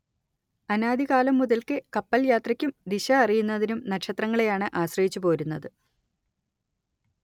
അനാദി കാലം മുതൽക്കേ കപ്പൽ യാത്രയ്ക്കും ദിശ അറിയുന്നതിനും നക്ഷത്രങ്ങളെയാണ് ആശ്രയിച്ചുപോരുന്നത്